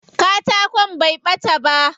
Katakon bai ɓata ba.